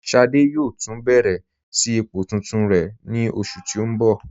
Ṣádé yóò tun bẹ̀rẹ̀ sí ipò tuntun rẹ ni oṣù tí n bọ.